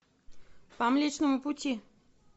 по млечному пути